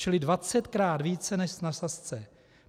Čili dvacetkrát více než na Sazce.